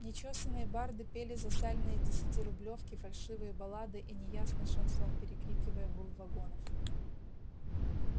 нечёсаные барды пели за сальные десятирублёвки фальшивые баллады и неясный шансон перекрикивая гул вагонов